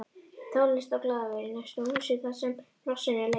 Tónlist og glaðværð í næsta húsi þarsem hnossins er leitað